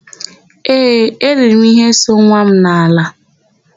Ee, eIiri m íhé so nwa m n'ala.